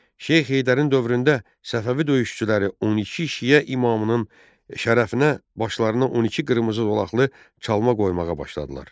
Şeyx Heydərin dövründə Səfəvi döyüşçüləri 12 şiə imamının şərəfinə başlarına 12 qırmızı dolaqlı çalma qoymağa başladılar.